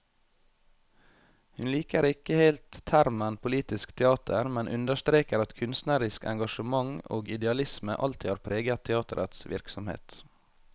Hun liker ikke helt termen politisk teater, men understreker at kunstnerisk engasjement og idealisme alltid har preget teaterets virksomhet.